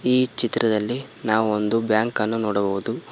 ಈ ಚಿತ್ರದಲ್ಲಿ ನಾವು ಒಂದು ಬ್ಯಾಂಕ್ ಅನ್ನು ನೋಡಬಹುದು.